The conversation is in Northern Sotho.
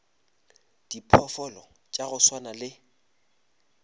diphoofolo tša go swana le